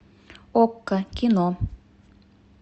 окко кино